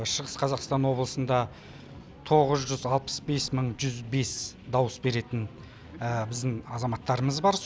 шығыс қазақстан облысында тоғыз жүз алпыс бес мың жүз бес дауыс беретін біздің азаматтарымыз бар